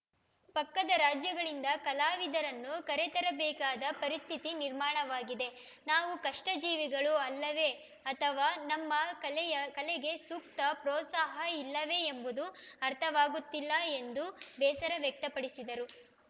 ಪಕ್ಕದ ರಾಜ್ಯಗಳಿಂದ ಕಲಾವಿದರನ್ನು ಕರೆತರಬೇಕಾದ ಪರಿಸ್ಥಿತಿ ನಿರ್ಮಾಣವಾಗಿದೆ ನಾವು ಕಷ್ಟಜೀವಿಗಳು ಅಲ್ಲವೇ ಅಥವಾ ನಮ್ಮ ಕಲೆಯ ಕಲೆಗೆ ಸೂಕ್ತ ಪ್ರೋತ್ಸಾಹ ಇಲ್ಲವೇ ಎಂಬುದು ಅರ್ಥವಾಗುತ್ತಿಲ್ಲ ಎಂದು ಬೇಸರ ವ್ಯಕ್ತಪಡಿಸಿದರು